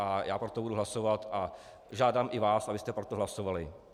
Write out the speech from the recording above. a já pro to budu hlasovat a žádám i vás, abyste pro to hlasovali.